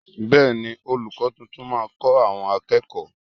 Bẹẹni, olùkọ́ tuntun máa kọ àwọn akẹ́kọ̀ọ́